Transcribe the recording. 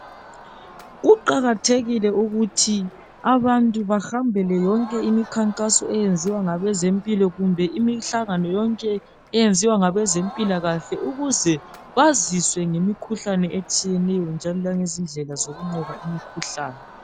Kuqakathekile ukuthi abantu behambele yonke imikhankaso eyenzwa ngabeze mpilo kumbe imihlangano yonke eyenziwa ngabe zempilakahle ukuze bazi ngemikhuhlane etshiyeneyo njalo langezindlela zokunqoba imikhuhlane